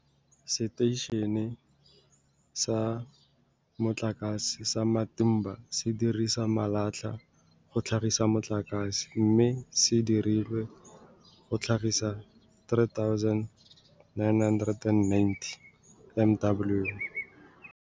Seteišene sa Motlakase sa Matimba se dirisa malatlha go tlhagisa motlakase, mme se dirilwe go tlhagisa 3990 MW.